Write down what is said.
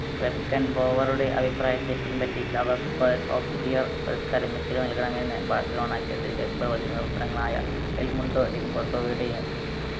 വെർക്കൻ ബോവറുടെ അഭിപ്രായത്തെ പിൻപറ്റി lava football of the year പുരസ്‌കാരം മെസ്സിക്ക് നൽകണമെന്ന് ബാഴ്‌സലോണക്കതിരെ എൽമുണ്ടോ ഡിപോർട്ടോയുടെയും